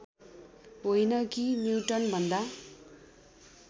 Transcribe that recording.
होइन कि न्युटनभन्दा